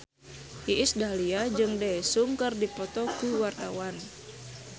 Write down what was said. Iis Dahlia jeung Daesung keur dipoto ku wartawan